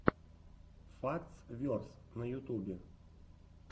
фактс верс на ютубе